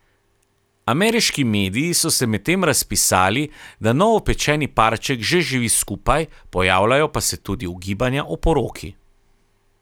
Ameriški mediji so se medtem razpisali, da novopečeni parček že živi skupaj, pojavljajo pa se tudi ugibanja o poroki.